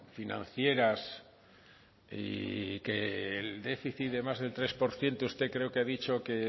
financieras y que el déficit de más del tres por ciento creo que usted ha dicho que